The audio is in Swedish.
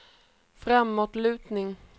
framåtlutning